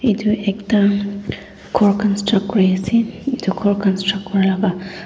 etu ekta gour countruct kori ase etu gour countruct Kora lag--